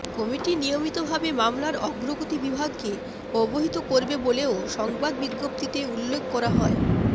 committee নিয়মিতভাবে মামলার অগ্রগতি বিভাগকে অবহিত করবে বলেও সংবাদ বিজ্ঞপ্তিতে উল্লেখ করা হয়